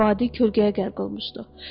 Vadi kölgələrə qərq olmuşdu.